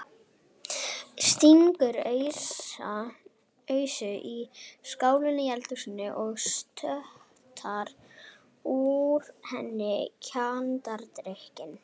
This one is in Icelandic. Stingur ausu í skálina í eldhúsinu og sötrar úr henni kjarnadrykkinn.